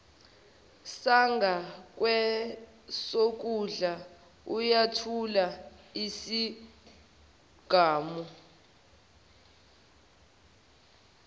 sangakwesokudla uyathula isigamu